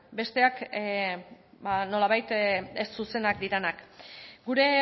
besteak nolabait ez zuzenak direnak gure